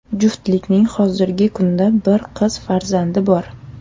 Juftlikning hozirgi kunda bir qiz farzandi bor.